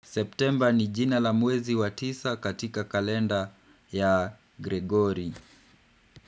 September ni jina la mwezi wa tisa katika kalenda ya Gregory.